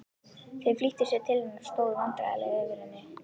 Þau flýttu sér til hennar og stóðu vandræðaleg yfir henni.